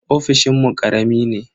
Ofishinmu karami ne.